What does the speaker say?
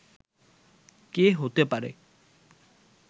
কে হতে পারে